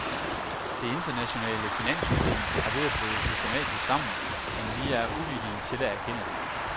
Det internationale finanssystem er ved at bryde systematisk sammen, men vi er uvillige til at erkende det.